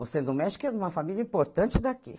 Você não mexe que é de uma família importante daqui.